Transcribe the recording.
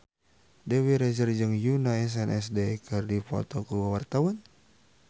Dewi Rezer jeung Yoona SNSD keur dipoto ku wartawan